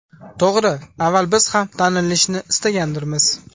To‘g‘ri, avval biz ham tanilishni istagandirmiz.